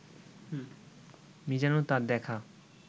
মীজানুর তাঁর দেখা